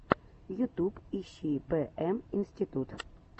ютуб ищи бэ эм институт